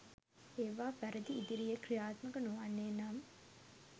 ඒවා වැරදි ඉදිරියේ ක්‍රියාත්මක නොවන්නේ නම්